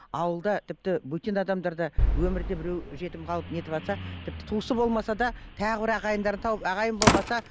ауылда тіпті бөтен адамдар да өмірде біреу жетім қалып нетіватса тіпті туысы болмаса да тағы бір ағайындарын тауып ағайын болмаса